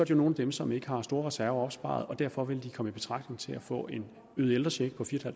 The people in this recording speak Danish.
jo nogle af dem som ikke har store reserver opsparet og derfor vil de komme i betragtning til at få en øget ældrecheck på fire